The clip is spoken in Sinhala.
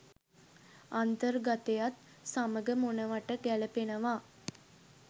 අන්තර්ගතයත් සමග මොනවට ගැලපෙනවා